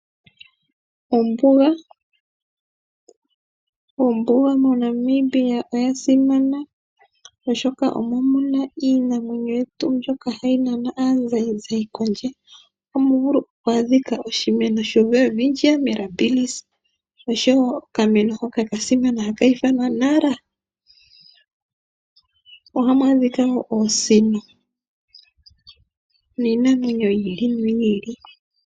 Ombuga, ombuga moNamibia oya simana oshoka omo muna iinamwenyo yetu mbyoka hayi nana aazayizayi kondje. Ohamu vulu oku adhika oshimeno shoWelwitchia Mirabilis osho wo oka meno hoka ka simana haka ithanwa Nara. Ohamu adhika wo Oosino niinamwenyo yi ili noyi ili.